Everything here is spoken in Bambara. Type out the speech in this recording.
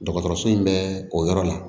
Dɔgɔtɔrɔso in bɛ o yɔrɔ la